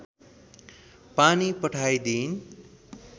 पानी पठाइदिइन